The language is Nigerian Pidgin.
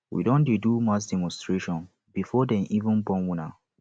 we don dey do mass demonstration before dey even born una